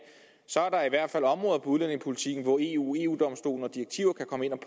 udlændingepolitikken hvor eu eu domstolen og direktiver kan komme ind